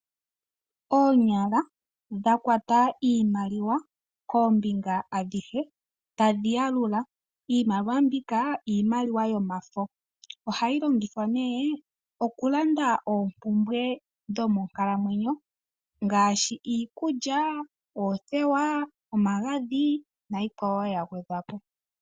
Oonyala dha kwata iimaliwa koombinga adhihe tadhi yalula, iimaliwa mbika iimaliwa yomafo ohayi longithwa ne okulanda oopumbwe dho mokalamwenyo ngaashi iikulya, oothewa omagadhi na yikwawo ya gwedhwa po.